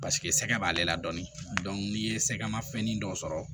Paseke sɛgɛ b'ale la dɔɔnin n'i ye sɛgɛn ma fɛn dɔw sɔrɔ